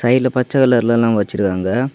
சைடுல பச்சை கலர்லலாம் வச்சிருக்காங்க.